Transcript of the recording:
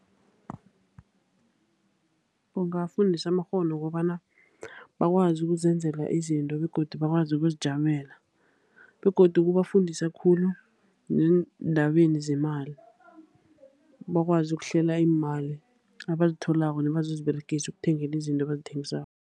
Kungafundisa amakghono wokobana bakwazi ukuzenzela izinto, begodu bakwazi ukuzijamela. Begodu kubafundisa khulu neendabeni zemali, bakwazi ukuhlela iimali abazitholako nabazoziberegisa ekuthengeni izinto abazithengisako.